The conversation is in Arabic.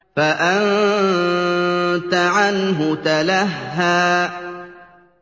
فَأَنتَ عَنْهُ تَلَهَّىٰ